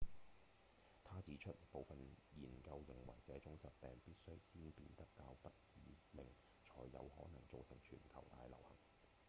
他指出部分研究認為這種疾病必須先變得較不致命才有可能造成全球大流行